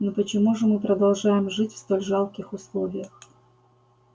но почему же мы продолжаем жить в столь жалких условиях